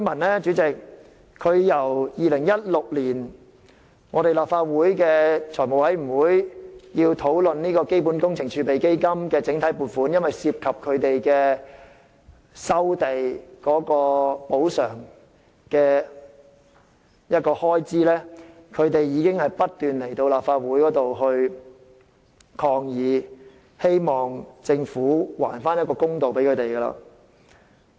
其實由2016年立法會財務委員會討論基本工程儲備基金整體撥款涉及收地補償的開支時，橫洲的居民已不斷前來立法會抗議，希望政府還他們一個公道。